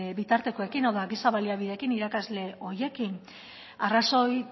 bitartekoekin hau da giza baliabideekin irakasle horiekin arrazoi